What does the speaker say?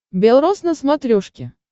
бел роз на смотрешке